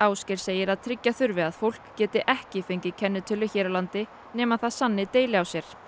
Ásgeir segir að tryggja þurfi að fólk geti ekki fengið kennitölu hér á landi nema það sanni deili á sér